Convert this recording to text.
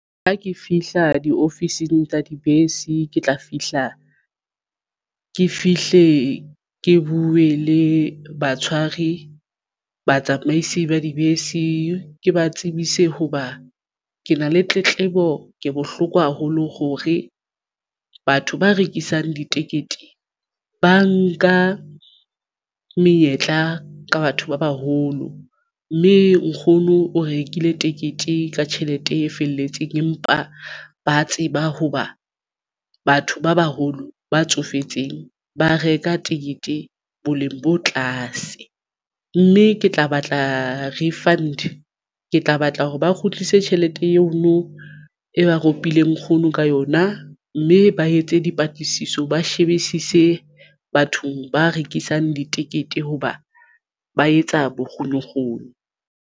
Ha ke fihla diofising tsa dibese ke tla fihla ke fihle ke buwe le batshwari batsamaisi ba dibese ke ba tsebise hoba ke na le tletlebo. Ke bohloko haholo hore batho ba rekisang ditekete ba nka menyetla ka batho ba baholo mme nkgono o rekile tekete ka tjhelete e felletseng empa ba tseba hoba batho ba baholo ba tsofetseng ba reka ticket-e boleng bo tlase mme ke tla batla refund ke tla batla hore ba kgutlise tjhelete eno e ba ropileng nkgono ka yona mme ba etse dipatlisiso ba shebisise bathong ba rekisang ditekete hoba ba etsa bokgonokgono.